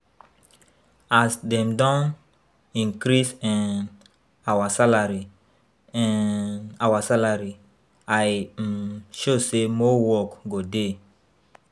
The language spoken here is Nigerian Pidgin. As dem don increase um our salary um our salary I um sure say more work go dey